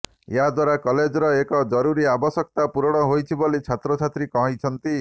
ଏହାଦ୍ବାରା କଲେଜର ଏକ ଜରୁରୀ ଆବଶ୍ୟକତା ପୂରଣ ହୋଇଛି ବୋଲି ଛାତ୍ରଛାତ୍ରୀ କହିଛନ୍ତି